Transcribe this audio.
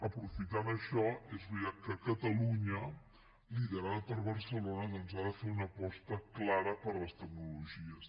aprofitant això és veritat que catalunya liderada per barcelona ha de fer una aposta clara per les tecnologies